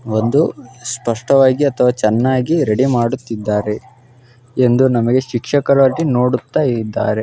ಒಂದು ಸ್ಪಷ್ಟವಾಗಿ ಅಥವ ಚೆನ್ನಾಗಿ ರೆಡಿ ಮಾಡುತ್ತಿದ್ದಾರೆ ಎಂದು ನಮಗೆ ಶಿಕ್ಷಕಾದಿಗಳು ನೋಡುತ್ತಾ ಇದ್ದಾರೆ.